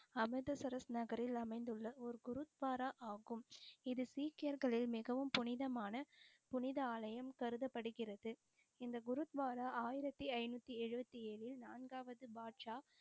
அமிர்தசரஸ் நகரில் அமைந்துள்ள ஒரு குருத்வாரா ஆகும். இது சீக்கியர்களின் மிகவும் புனிதமான புனித ஆலயம் கருத படுகிறது. இந்த குருத்வாரா ஆயிரத்தி ஐநூத்தி எழுபத்தி ஏழில் நான்காவது பாக்ஷா,